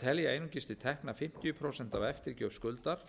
telja einungis til tekna fimmtíu prósent af eftirgjöf skuldar